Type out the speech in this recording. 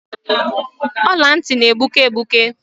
Ọla ntị na-egbuke egbuke.